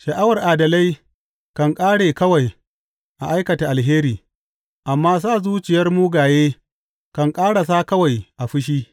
Sha’awar adalai kan ƙare kawai a aikata alheri, amma sa zuciyar mugaye kan ƙarasa kawai a fushi.